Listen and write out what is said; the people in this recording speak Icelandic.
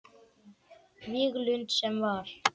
Víglund sem var.